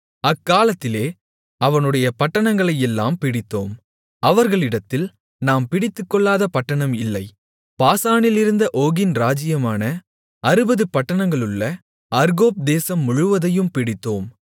அக்காலத்திலே அவனுடைய பட்டணங்களையெல்லாம் பிடித்தோம் அவர்களிடத்தில் நாம் பிடித்துக்கொள்ளாத பட்டணம் இல்லை பாசானிலிருந்த ஓகின் ராஜ்ஜியமான அறுபது பட்டணங்களுள்ள அர்கோப் தேசம் முழுவதையும் பிடித்தோம்